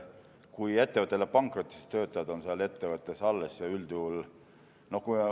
Kui ettevõte läheb pankrotti, siis töötajad on seal ettevõttes ju üldjuhul alles.